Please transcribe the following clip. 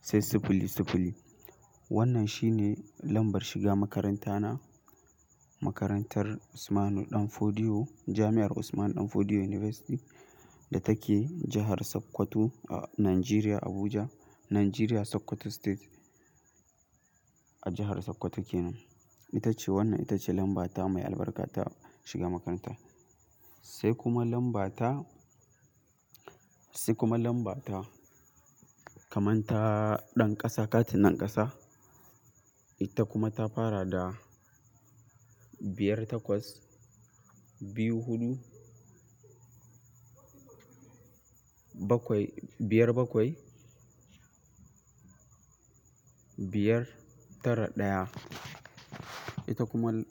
sai siffili siffili. Wannan shine lambar shiga makaranta na makarantar Usman Ɗanfodiyo, Jami'ar Usman Ɗanfodiyo University da take jahar Sokoto a Nigeria Abuja, Nigeria Sokoto state a jahar Sokoto kenan. Ita ce wannan ita ce lambata mai albarka ta shiga makaranta. Sai kuma lambata, sai kuma lambata kamar ta ɗan ƙasa katin ɗan ƙasa. Ita kuma ta fara da biyar takwas biyu hudu bakwai, biyar bakwai biyar tara ɗaya. Ita kuma.